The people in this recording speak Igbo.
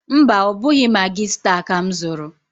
Mba, ọ bụghị Magị staa ka m zụrụ.